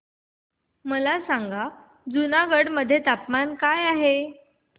मला सांगा जुनागढ मध्ये तापमान काय आहे